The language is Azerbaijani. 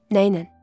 Nə ilə?